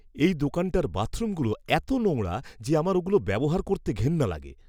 এই দোকানটার বাথরুমগুলো এতো নোংরা যে আমার ওগুলো ব্যবহার করতে ঘেন্না লাগে!